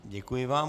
Děkuji vám.